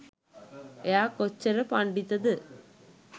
එයා කොච්චර පණ්ඩිතද